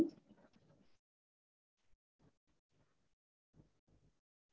okay payment procedure வந்து எப்படி advance முன்னாடி எவ்ளோ pay பண்றதா வரும்?